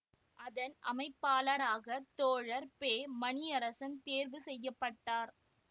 அதன் அமைப்பாளராக தோழர் பெமணியரசன் தேர்வு செய்ய பட்டார்